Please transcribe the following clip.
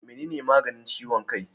Menene maganin ciwon kai?